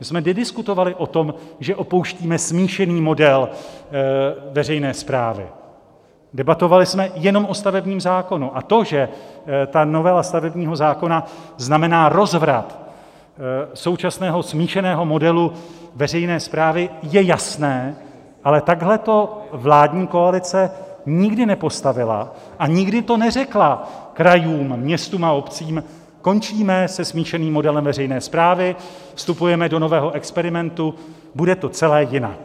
My jsme nediskutovali o tom, že opouštíme smíšený model veřejné správy, debatovali jsme jenom o stavebním zákonu, a to, že ta novela stavebního zákona znamená rozvrat současného smíšeného modelu veřejné správy, je jasné, ale takhle to vládní koalice nikdy nepostavila a nikdy to neřekla krajům, městům a obcím - končíme se smíšeným modelem veřejné správy, vstupujeme do nového experimentu, bude to celé jinak.